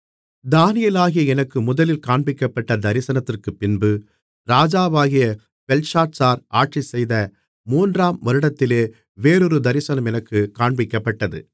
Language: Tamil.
தானியேலாகிய எனக்கு முதலில் காண்பிக்கப்பட்ட தரிசனத்திற்குப்பின்பு ராஜாவாகிய பெல்ஷாத்சார் ஆட்சிசெய்த மூன்றாம் வருடத்திலே வேறொரு தரிசனம் எனக்குக் காண்பிக்கப்பட்டது